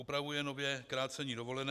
Upravuje nově krácení dovolené.